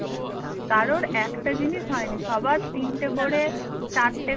কারোর একটা জিনিস হয়নি সবার তিনটা করে চারটে